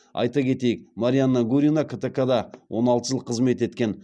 айта кетейік марианна гурина ктк да он алты жыл қызмет еткен